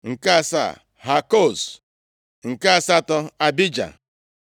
nke asaa, Hakoz nke asatọ, Abija